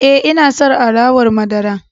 E, ina son alawar madara.